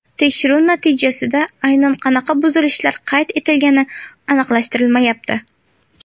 Tekshiruv natijasida aynan qanaqa buzilishlar qayd qilingani aniqlashtirilmayapti.